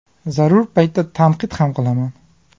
Zarur paytda tanqid ham qilaman.